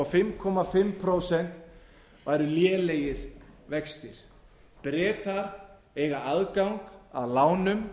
á fimm og hálft prósent væru lélegir vextir bretar eiga aðgang að lánum